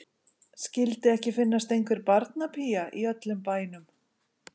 Skyldi ekki finnast einhver barnapía í öllum bænum.